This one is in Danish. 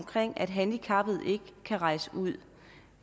at handicappede ikke kan rejse ud